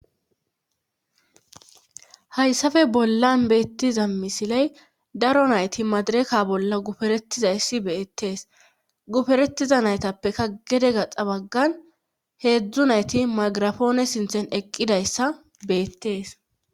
Hayssafe bollan beettiza misiley daro nayti madireka bolla guferetizayssi beettees guferetiza naytappekka gede gaxa baggan heedzdzu nayti magirafoone sinthen eqqidayssa beettees.